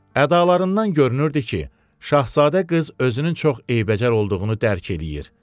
Ədalarından görünürdü ki, şahzadə qız özünün çox eybəcər olduğunu dərk eləyir.